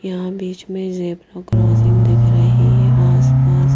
यहां बीच में ज़ेबरा क्रॉसिंग दिख रही है आसपास--